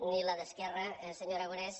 ni la d’esquer·ra senyor aragonés